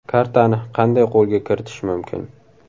Kartani qanday qo‘lga kiritish mumkin?